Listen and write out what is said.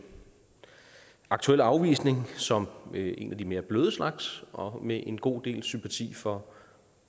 aktuelle afvisning som en af de mere bløde slags og med en god del sympati for